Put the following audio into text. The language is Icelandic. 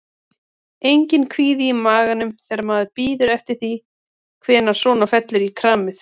Enginn kvíði í maganum þegar maður bíður eftir því hvernig svona fellur í kramið?